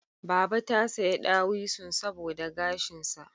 Baba ta saya dawisun saboda gashinsa